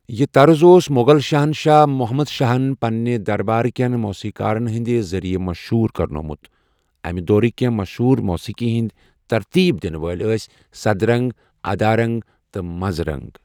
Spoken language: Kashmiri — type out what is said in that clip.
یہِ طرٕز اوس مۄغل شہنشاہ محمد شاہن پنٛنہِ دربار کٮ۪ن موسیٖقارن ہِنٛدِ ذٔریعہٕ مشہوٗر کرنوومُت، امہِ دورٕکۍ کٮ۪نٛہہ مشہوٗر موسیٖقی ہٕنٛدۍ ترتیٖب دِنہٕ وٲلۍ ٲسۍ سدرنٛگ، ادارنٛگ تہٕ منرَنٛگ۔